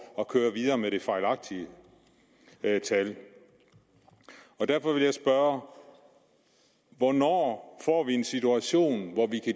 at køre videre med de fejlagtige tal derfor vil jeg spørge hvornår får vi en situation hvor vi